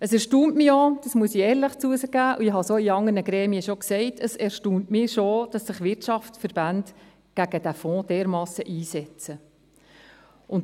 Es erstaunt mich schon –dies muss ich ehrlich zugeben, ich habe es in anderen Gremien auch schon gesagt –, dass sich Wirtschaftsverbände dermassen gegen diesen Fonds einsetzen.